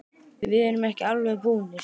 Við erum ekki alveg búnir.